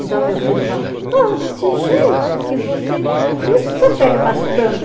Então meu filho fala, desse jeito que você, por isso você pega bastante.